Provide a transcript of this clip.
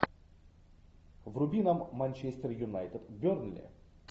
вруби нам манчестер юнайтед бернли